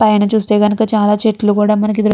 పైన చూస్తే కనుక చాలా చెట్లు కూడా మనకి దృ --